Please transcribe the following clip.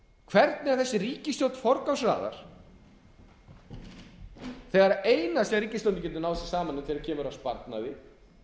hvernig þessi ríkisstjórn forgangsraðar þegar það eina sem ríkisstjórnin getur náð sér saman um þegar kemur að sparnaði